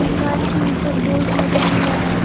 मकान की ऊपर बोर्ड लगा हुआ हैं ।